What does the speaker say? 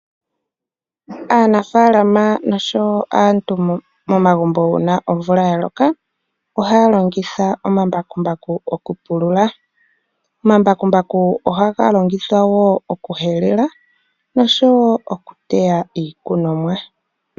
Aanafalama nosho woo aantu uuna omvula yaloka ohaya longitha omambakumbaku uuna omvula yaloka. Omambakumbaku ohaga lingithwa woo okuhelela nosho woo okuteya iikunomwa.